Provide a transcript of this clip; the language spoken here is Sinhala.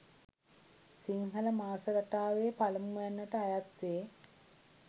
සිංහල මාස රටාවේ පළමුවැන්නට අයත් වේ.